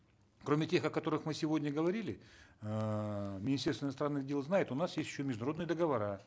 кроме тех о которых мы сегодня говорили эээ министерство иностранных дел знает у нас есть еще международные договора